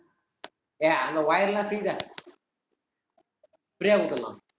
ஏய் அந்த wire லாம் free தா free ஆ கொடுத்துடலா.